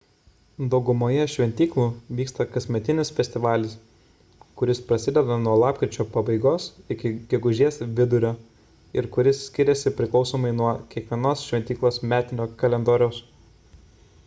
daugumoje šventyklų vyksta kasmetinis festivalis kuris prasideda nuo lapkričio pabaigos iki gegužės vidurio ir kuris skiriasi priklausomai nuo kiekvienos šventyklos metinio kalendoriaus